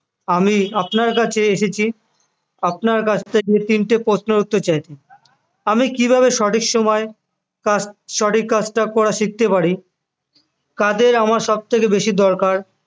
আমি আপনার কাছে এসেছি আপনার কাছ থেকে তিনটি প্রশ্নের উত্তর চাইতে আমি কিভাবে সঠিক সময়ে কাজ সঠিক কাজটা করা শিখতে পারি কাদের আমার সবথেকে বেশি দরকার